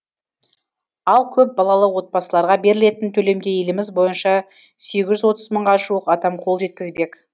ал көпбалалы отбасыларға берілетін төлемге еліміз бойынша сегіз жүз отыз мыңға жуық адам қол жеткізбек